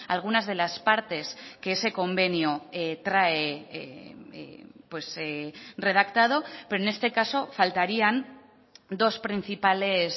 algunas de las partes que ese convenio trae redactado pero en este caso faltarían dos principales